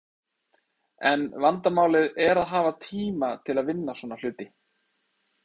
En vandamálið er að hafa tíma til að vinna svona hluti.